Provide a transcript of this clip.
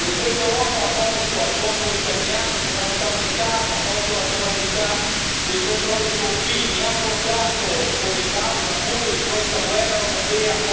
Questa Europa ha tolto al popolo italiano sovranità monetaria, ha tolto la sovranità del controllo dei confini, ha portato come causa appunto di questa guerra europea